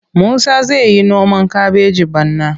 Musa zai yi noman kabeji bana.